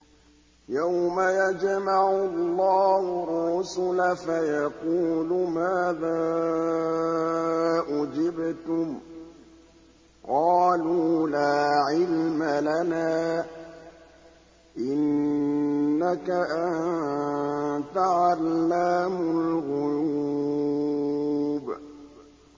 ۞ يَوْمَ يَجْمَعُ اللَّهُ الرُّسُلَ فَيَقُولُ مَاذَا أُجِبْتُمْ ۖ قَالُوا لَا عِلْمَ لَنَا ۖ إِنَّكَ أَنتَ عَلَّامُ الْغُيُوبِ